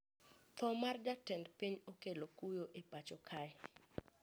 Tho mar jatend piny okelo kuyo e pacho kae